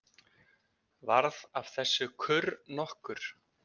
Varð af þessu kurr nokkur.